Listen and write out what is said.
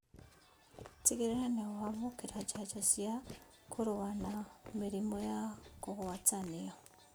Tigĩrĩra nĩwamũkĩra njanjo cia kũrũa na mĩrimũ ya kũgwatanio